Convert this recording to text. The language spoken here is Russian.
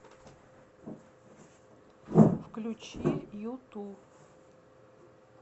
включи ютуб